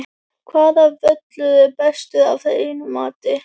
Hvaða völlur er bestur af þínu mati?